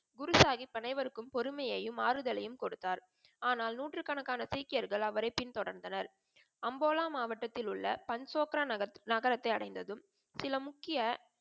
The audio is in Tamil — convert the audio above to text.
குரு சாஹிப் அனைவருக்கும் பொறுமையும், ஆறுதலையும் கொடுத்தார். ஆனால் நூற்று கணக்கான சீக்கியர்கள் அவரை பின் தொடர்ந்தனர். அம்போலா மாவட்டதிலுள்ள பஞ்சோப்ரா நகரம் நகரத்தை அடைந்ததும் சில முக்கிய